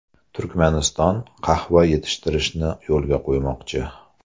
Turkmaniston qahva yetishtirishni yo‘lga qo‘ymoqchi.